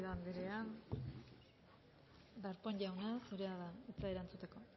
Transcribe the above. garrido andrea darpón jauna zurea da hitza erantzuteko